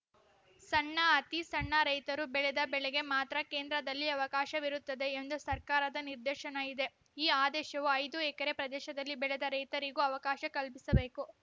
ಸಣ್ಣ ಅತಿ ಸಣ್ಣ ರೈತರು ಬೆಳೆದ ಬೆಳೆಗೆ ಮಾತ್ರ ಕೇಂದ್ರದಲ್ಲಿ ಅವಕಾಶವಿರುತ್ತದೆ ಎಂದು ಸರ್ಕಾರದ ನಿರ್ದೇಶನ ಇದೆ ಈ ಆದೇಶವು ಐದು ಎಕರೆ ಪ್ರದೇಶದಲ್ಲಿ ಬೆಳೆದ ರೈತರಿಗೂ ಅವಕಾಶ ಕಲ್ಪಿಸಬೇಕು